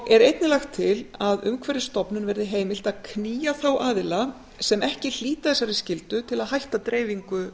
er einnig lagt til að umhverfisstofnun verði heimilt að knýja þá aðila sem ekki hlíta þessari skyldu til að hætta dreifingu